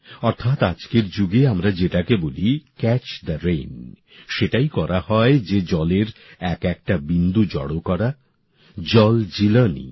অর্থাৎ আজকের যুগে আমরা যেটাকে বলি ক্যাচ দ্য রেইন সেটাই করা হয় যে জলের একএকটা বিন্দু জড়ো করা জলজীলনী